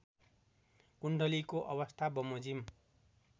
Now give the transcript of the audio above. कुण्डलीको अवस्थाबमोजिम